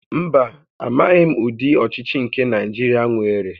Mba, amaghim udi ochichi nke Naijiria nwere